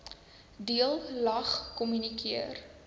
deel lag kommunikeer